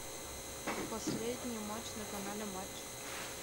последний матч на канале матч